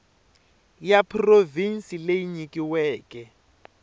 ya provhinsi leyi yi nyikiweke